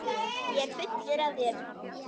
Ég er fullur af þér.